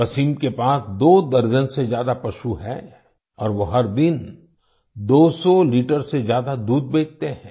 वसीम के पास दो दर्जन से ज्यादा पशु हैं और वो हर दिन दोसौ लीटर से ज्यादा दूध बेचते हैं